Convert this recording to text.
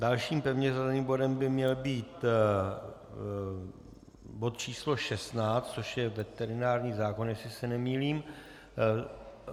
Dalším pevně zařazeným bodem by měl být bod číslo 16, což je veterinární zákon, jestli se nemýlím.